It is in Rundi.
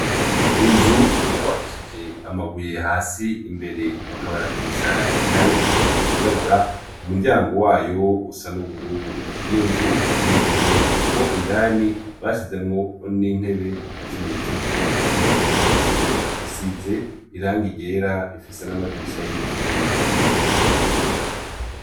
inzu bubakishije amabuye hasi imbere bakabaratisha irangi ryirabura umuryango wayo usa n'ubururu iyo nzu iteye igomwe kuko indani bashizemwo n'intebe ikimenyetso yuko ashobora kuba ari isomero isize irangi ryera ifise n'amadirisha y'ivyuma